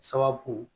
Sababu